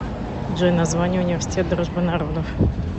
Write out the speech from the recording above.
джой название университет дружбы народов